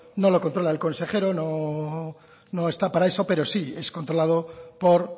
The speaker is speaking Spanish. no lo controla el consejero no está para eso pero sí es controlado por